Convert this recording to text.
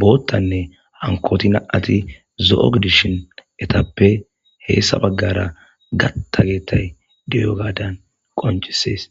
boottanne hankoti na7ati zo7o gidishin etappe heessa baggara gatta geettay diyo gaadan qoncisees